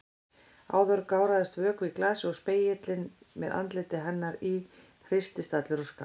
Áðan gáraðist vökvi í glasi og spegillinn með andliti hennar í hristist allur og skalf.